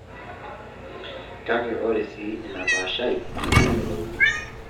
Kake ore sii ina paashai neitu eyiolouni.